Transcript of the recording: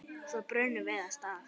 Svo brunum við af stað.